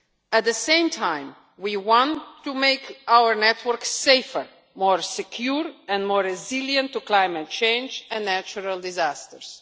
At the same time, we want to make our network safer, more secure and more resilient to climate change and natural disasters.